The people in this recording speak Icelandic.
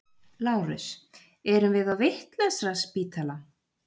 LÁRUS: Erum við á vitlausraspítala?